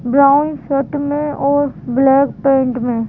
brown shirt में और black pant में--